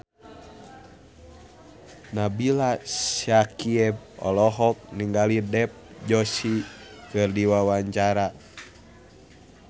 Nabila Syakieb olohok ningali Dev Joshi keur diwawancara